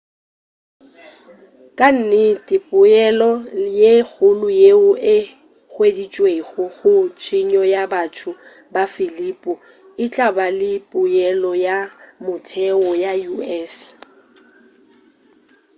ka nnete poelo ye kgolo yeo e hweditšwego go tshenyo ya batho ba filipino e tla ba le poelo ya motheo ya u.s